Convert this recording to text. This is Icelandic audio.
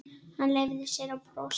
Hann leyfði sér að brosa.